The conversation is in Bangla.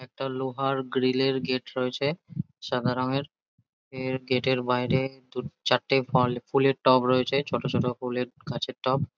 একটা লোহার গ্রিল -এর গেট রয়েছে। সাদা রঙের গেট গেট -এর বাইরে চারটে ফুলের টব রয়েছে ছোটো ছোটো ফুলের গাছের টব।